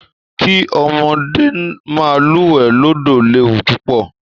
Kí ọmọdé máa lúwẹ̀ẹ́ lódò léwù púpọ̀